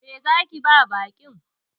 Me zaki ba baƙin?